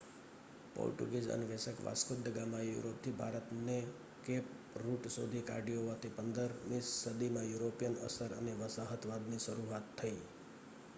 Portuguese અન્વેષક Vasco da ગામાએ યુરોપથી ભારતનો કેપ રૂટ શોધી કાઢ્યો હોવાથી 15મી સદીમાં યુરોપિયન અસર અને વસાહતવાદની શરૂઆત થઈ